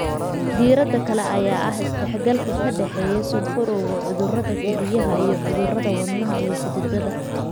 Diirada kale ayaa ah isdhexgalka ka dhexeeya sonkorowga, cudurada kelyaha, iyo cudurada wadnaha iyo xididada.